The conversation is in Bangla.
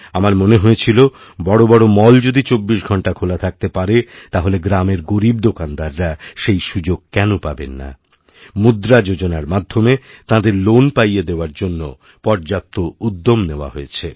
আমার মনে হয়েছিল বড় বড় মল যদি চব্বিশ ঘণ্টাখোলা থাকতে পারে তাহলে গ্রামের গরীব দোকানদাররা সেই সুযোগ কেন পাবেন না মুদ্রাযোজনার মাধ্যমে তাঁদের লোন পাইয়ে দেওয়ার জন্য পর্যাপ্ত উদ্যম নেওয়া হয়েছে